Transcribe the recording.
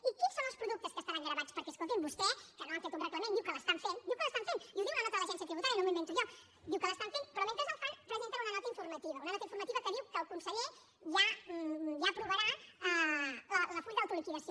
i quins són els productes que estaran gravats perquè escolti’m vostès que no han fet un reglament diu que l’estan fent diu que l’estan fent i ho diu la nota de l’agència tributària no m’ho invento jo diu que l’estan fent però mentre el fan presenten una nota informativa una nota informativa que diu que el conseller ja aprovarà el full d’autoliquidació